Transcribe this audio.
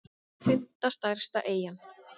fimmta stærsta eyjan